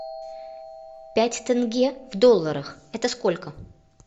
пять тенге в долларах это сколько